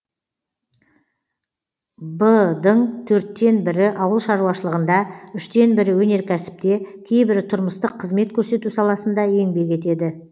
в дың төрттен бірі ауыл шаруашылығында үштен бірі өнеркәсіпте кейбірі тұрмыстық қызмет көрсету саласында еңбек етеді